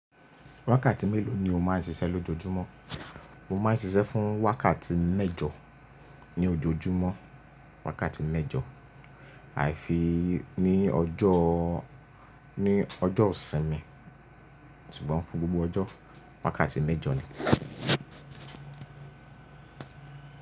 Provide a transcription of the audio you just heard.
Wákàtí mélòó ni o má ń ṣiṣẹ́ lójoojúmọ́? Mo má ń ṣiṣẹ́ fún wákàtí mẹ́jọ ní ojoojúmọ́, wákàtí mẹ́jọ. Àìfi ní ọjọ́, ní ọjọ́ ìsinmi ṣùgbọ́n fún gbogbo ọjọ́ wákàtí mẹ́jọ ni.